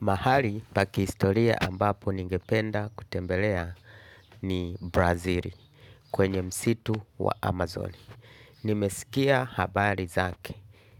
Mahali pa kiistoria ambapo ningependa kutembelea ni Brazili kwenye msitu wa Amazon. Nimeskia habari zake.